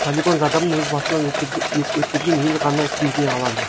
полигон зардабын өз басынан өткерген ел ғана сезіне алады